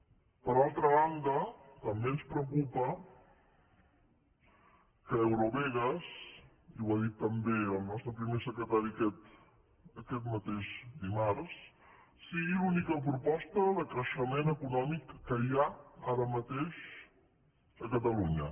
per altra banda també ens preocupa que eurovegas i ho ha dit també el nostre primer secretari aquest mateix dimarts sigui l’única proposta de creixement econòmic que hi ha ara mateix a catalunya